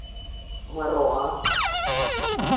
маруа